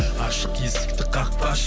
ашық есікті қақпашы